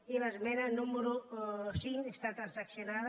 i l’esmena número cinc està transaccionada